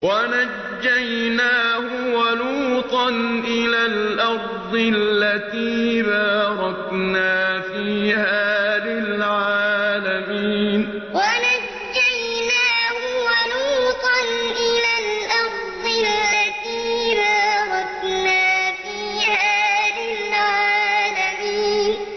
وَنَجَّيْنَاهُ وَلُوطًا إِلَى الْأَرْضِ الَّتِي بَارَكْنَا فِيهَا لِلْعَالَمِينَ وَنَجَّيْنَاهُ وَلُوطًا إِلَى الْأَرْضِ الَّتِي بَارَكْنَا فِيهَا لِلْعَالَمِينَ